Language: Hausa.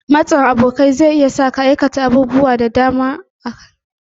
Matsin abokai zai iya sa ka aikata abubuwa da dama marasa kyau.